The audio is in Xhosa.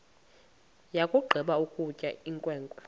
yakugqiba ukutya inkwenkwe